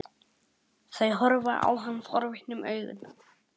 Þau horfa á hann forvitnum augum.